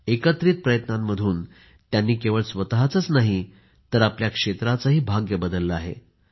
एकत्रित प्रयत्नांमधून त्यांनी केवळ स्वतःचेच नाहीतर आपल्या क्षेत्राचेही भाग्य बदलले आहे